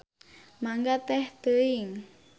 Mangga teh teuing.